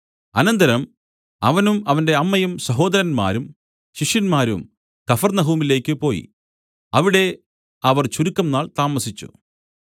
അനന്തരം അവനും അവന്റെ അമ്മയും സഹോദരന്മാരും ശിഷ്യന്മാരും കഫർന്നഹൂമിലേക്ക് പോയി അവിടെ അവർ ചുരുക്കംനാൾ താമസിച്ചു